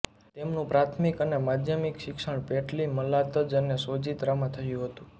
તેમનું પ્રાથમિક અને માધ્યમિક શિક્ષણ પેટલી મલાતજ અને સોજિત્રામાં થયું હતું